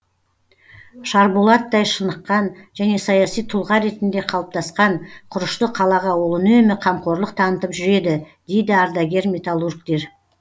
шарболаттай шыныққан және саяси тұлға ретінде қалыптасқан құрышты қалаға ол үнемі қамқорлық танытып жүреді дейді ардагер металлургтер